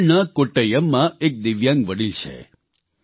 કેરળના કોટ્ટયમમાં એક દિવ્યાંગ વડીલ છે